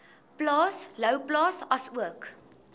plaas louwplaas asook